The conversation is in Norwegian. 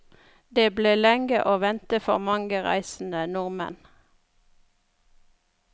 Det ble lenge å vente for mange reisende nordmenn.